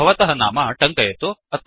भवतः नाम टङ्कयतु